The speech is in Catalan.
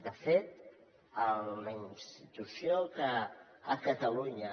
de fet la institució que a catalunya